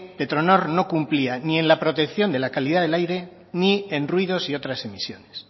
petronor no cumplía ni en la protección de la calidad del aire ni en ruidos y otras emisiones